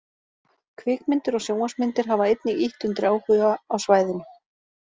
Kvikmyndir og sjónvarpsmyndir hafa einnig ýtt undir áhuga á svæðinu.